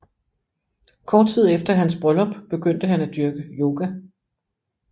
Kort tid efter hans bryllup begyndte han at dyrke yoga